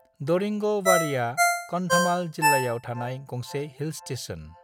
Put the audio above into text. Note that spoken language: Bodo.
दरिंगबाड़ीया कंधमाल जिल्लायाव थानाय गंसे हिल स्टेशन।